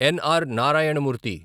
ఎన్. R. Narayana మూర్తి